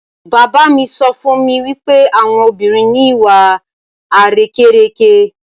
Bàbá mi sọ fún mi wípé àwọn obìnrin ni ìwà àrékérekè.